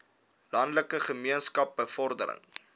landelike gemeenskappe bevordering